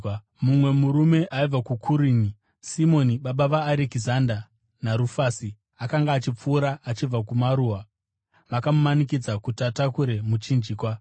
Mumwe murume aibva kuKurini, Simoni baba vaArekizanda naRufasi, akanga achipfuura achibva kumaruwa, vakamumanikidza kuti atakure muchinjikwa.